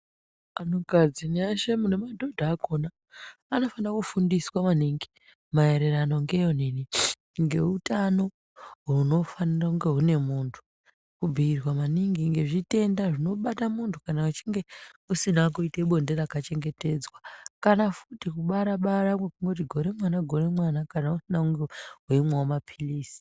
Antukadzi mweshe nemadhodha akhona anofanirwa kufundiswa maningi maererano ngeutano hunofanire kunge hune munthu. Kubhiirwa maningi ngezvitenda zvinobata munthu kana weinge usina kuita bonde rakachengetedzwa. Kana futi kubara-bara kwekungoti gore mwana gore mwana kana weinge usina kumwa maphirizi.